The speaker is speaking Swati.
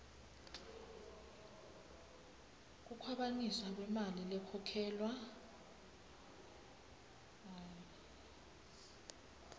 kukhwabanisa kwemali lekhokhelwa